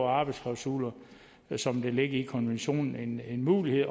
arbejdsklausuler som det ligger i konventionen en mulighed